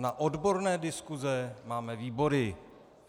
Na odborné diskuse máme výbory.